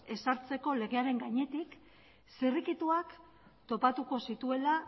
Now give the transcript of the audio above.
ezartzeko legearen gainetik zirrikituak topatuko zituela